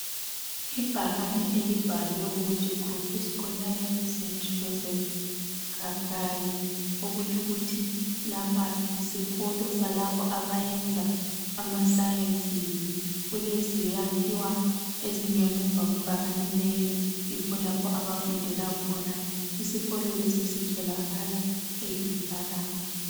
Ibhakane elibhalwe ukuthi Groupe scolaire st Joseph kabgayi okutsho ukuthi lapha yisikolo salabo abayenza ama sciences kulezakhiwo ezingamuva kwebhakane leli yikho lapho abafundela khona isikolo lesi sitholakala eGitarama.